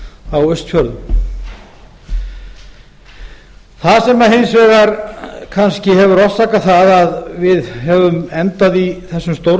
á austfjörðum það sem hins vegar kannski hefur orsakað að við höfum endað í þessum